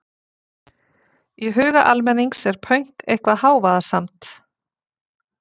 í huga almennings er pönk eitthvað hávaðasamt